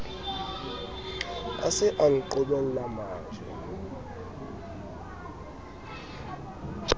a se a nqhobella majwe